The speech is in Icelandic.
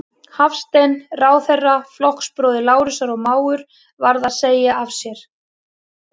Hafstein, ráðherra, flokksbróðir Lárusar og mágur, varð að segja af sér.